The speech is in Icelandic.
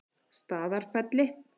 Staðarfelli